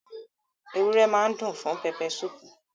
Ewúrẹ́ máa dùn fún pẹpẹsúpù